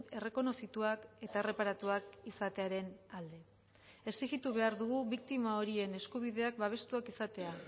errekonozituak eta erreparatuak izatearen alde exijitu behar dugu biktima horien eskubideak babestuak izatea